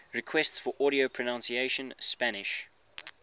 requests for audio pronunciation spanish